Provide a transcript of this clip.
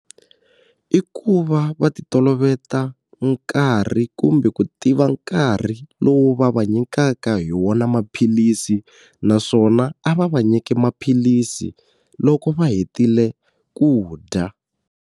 I ku va va ti toloveta nkarhi kumbe ku tiva nkarhi lowu va va nyikaka hi wona maphilisi naswona a va va nyiki maphilisi loko va hetile ku dya.